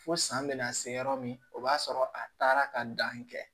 Fo san bɛna se yɔrɔ min o b'a sɔrɔ a taara ka dan kɛ